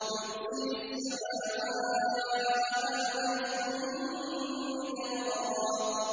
يُرْسِلِ السَّمَاءَ عَلَيْكُم مِّدْرَارًا